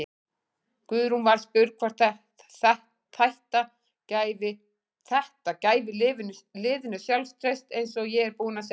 Guðrún var spurð hvort þætta gæfi liðinu sjálfstraust: Eins og ég er búinn að segja.